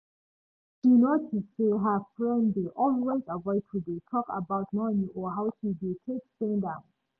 she notice say her friend dey always avoid to dey talk about money or how she dey take spend am